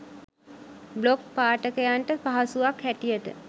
blog පාඨකයන්ට පහසුවක් හැටියට